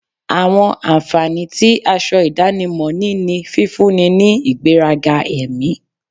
Àwọn ànfàní tí aṣọ ìdánimọ̀ ní ní fífúnni ní ìgbẹ́ga ẹ̀mí